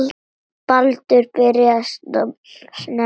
Baldur byrjaði snemma að vinna.